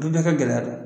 Du bɛɛ kɛ gɛlɛya don